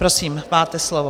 Prosím, máte slovo.